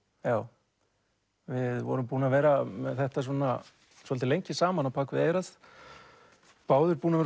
já við vorum búnir að vera með þetta svolítið lengi saman á bak við eyrað báðir búnir